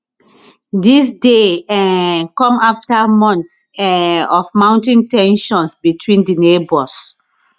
dis dey um come after months um of mounting ten sions between di neighbours